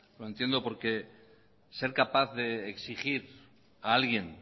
lo entiendo porque ser capaz de exigir a alguien